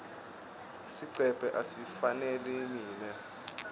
sigcebhe asingifaneli mine